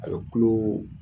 A bɛ tulo